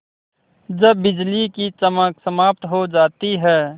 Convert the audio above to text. जब बिजली की चमक समाप्त हो जाती है